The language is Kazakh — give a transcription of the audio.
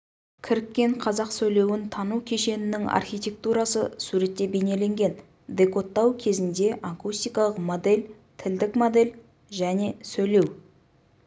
кіріккен қазақ сөйлеуін тану кешенінің архитектурасы суретте бейнеленген декодтау кезінде акустикалық модель тілдік модель және сөйлеу